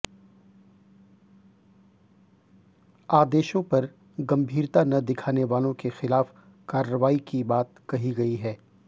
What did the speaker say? आदेशों पर गंभीरता न दिखाने वालों के खिलाफ कार्रवाई की बात कही गई है